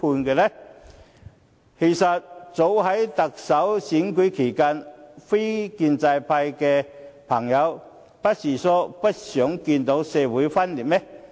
其實，早前在特首選舉期間，非建制派朋友不是說不想再看到社會撕裂嗎？